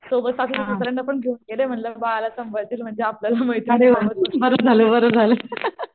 सोबत सासू सासर्यांना पण घेऊन गेलें म्हणले बाळाला सांभाळतील म्हणजे आपल्याला